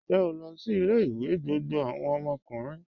Ǹjẹ́ o lọ sí ilẹ̀-ìwé gbogbo awọn ọmọkùnrin?